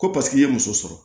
Ko paseke i ye muso sɔrɔ